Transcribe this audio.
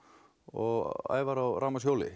og Ævar á